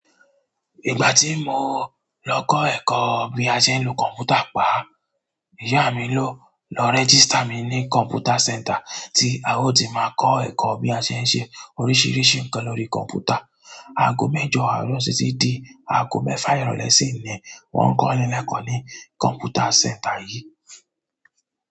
Ìgbà tí mo lọ kọ́ ẹ̀kọ́ bí a ṣe ń lo kọ̀m̀pútà pá, ìyá mi ló lọ rẹ́gístà mi ní kọ̀m̀pútà center tí a ó ti máa kọ́ ẹ̀kọ́ bí a ṣe ń ṣe oríṣiríṣi nǹkan lórí kọ̀m̀pútà. Aago mẹ́jọ àárọ̀ títí di aago mẹ́fà ìrọ̀lẹ́ sì ni wọ́n ń kọ́ni lẹ́kọ̀ọ́ ní kọ̀m̀pútà center yìí.